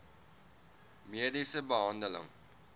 mediese behandeling